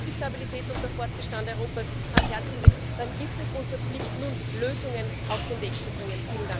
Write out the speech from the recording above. Wenn uns die Stabilität und der Fortbestand Europas am Herzen liegen, dann ist es unsere Pflicht, nun Lösungen auf den Weg zu bringen.